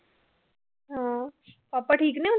ਹਮ ਪਾਪਾ ਠੀਕ ਨੇ